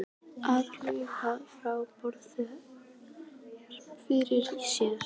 Að hlaupast frá borði jafngildir að farga sér.